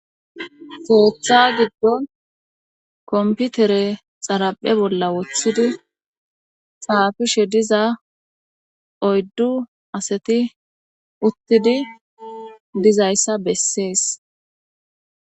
Keetha giddon komputere xaraphe bolla wothidi saafishe diza oyddu asati uttidi dizayssa bessees.